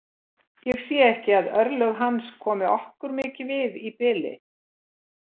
Ég sé ekki að örlög hans komi okkur mikið við í bili.